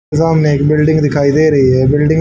वो हमें एक बिल्डिंग दिखाई दे रही है बिल्डिंग --